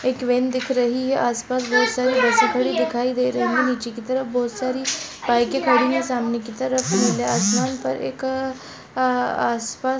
एक वैन दिखाई दे रही है आसपास बहुत सारी बस खड़ी हुई है नीचे की तरफ बहुत सारी बाइके खड़ी हुई है सामने की तरफ नीले आसमान पर एक आआ आसपास --